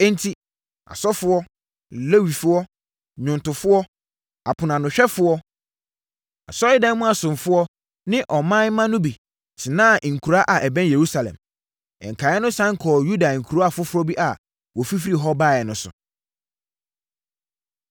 Enti, asɔfoɔ, Lewifoɔ, nnwomtofoɔ, aponoanohwɛfoɔ, asɔredan mu asomfoɔ ne ɔman mma no bi tenaa nkuraa a ɛbɛn Yerusalem. Nkaeɛ no sane kɔɔ Yuda nkuro afoforɔ bi a wɔfifirii hɔ baeɛ no so.